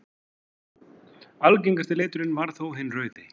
Algengasti liturinn varð þó hinn rauði.